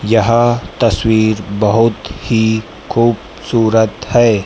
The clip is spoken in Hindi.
यह तस्वीर बहुत ही खूबसूरत है।